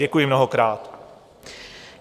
Děkuji mnohokrát.